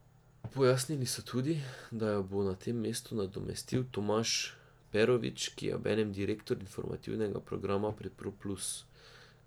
Pojasnili so tudi, da jo bo na tem mestu nadomestil Tomaž Perovič, ki je obenem direktor informativnega programa pri Pro Plus.